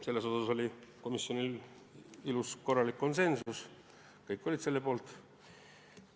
Selles oli komisjonis ilus korralik konsensus, kõik olid selle poolt.